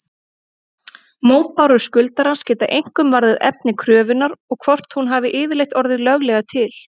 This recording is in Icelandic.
Mótbárur skuldarans geta einkum varðað efni kröfunnar og hvort hún hafi yfirleitt orðið löglega til.